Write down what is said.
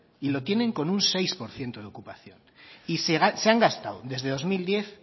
y lo tienen con un seis por ciento de ocupación y se han gastado desde dos mil diez